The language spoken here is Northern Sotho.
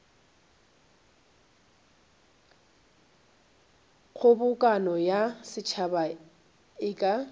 kgobokano ya setšhaba e ka